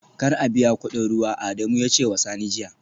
Kar a biya kudin ruwa, Adamu ya ce wa Sani jiya